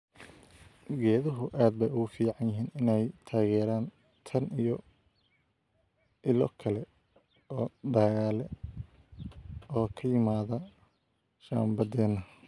Geeduhu aad bay ugu fiican yihiin inay taageeraan tan iyo ilo kale oo dhaqaale oo ka yimaada shambadeena.